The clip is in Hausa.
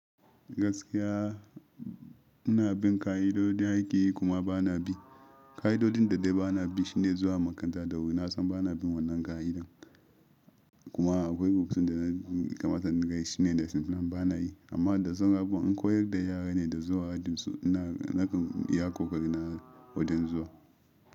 Gaskiya muna bin ƙa'idodi aiƙi kuma ba na bi. Ƙa'idodin da dai ba na bi shine zuwa makaranta da wuri. Na san ba na bin wannan ƙa'idar kuma akwai rubutun da na kamata in dinga yi shine da lessonplan ba na yi. Amma da saura abubuwan, in koyar da yara ne da zuwa ajin su ina nakan iya ƙo ƙari na wajan zuwa.